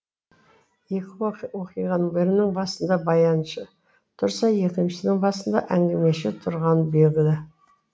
екі уақиғаның бірінің басында баяншы тұрса екіншісінің басында әңгімеші тұрғаны белгілі